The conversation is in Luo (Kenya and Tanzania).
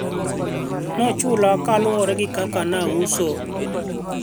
alinilipa kulingana na jinsi nilivyouza